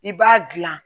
I b'a gilan